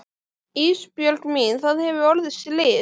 Ísbjörg mín það hefur orðið slys.